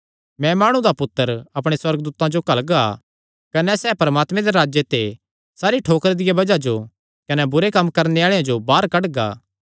मैं माणु दा पुत्तर अपणे सुअर्गदूतां जो घल्लगा कने सैह़ परमात्मे दे राज्जे ते सारी ठोकरां दिया बज़ाहां जो कने बुरे कम्म करणे आल़ेआं जो बाहर कड्डगा